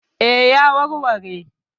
E, ya warware?